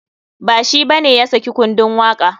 Ba shi bane ya saki kundun waka.